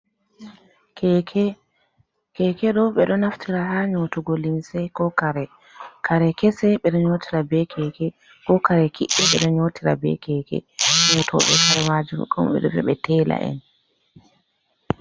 Keke, keke ɗo ɓe ɗo naftira ha nyotugo limse ko kare, kare kese ɓeɗo nyotira be keke, ko kare kiɗɗi ɓe ɗo nyotira be keke, nyotoɓe kare majum ɓe ɗo viya ɓe tela en.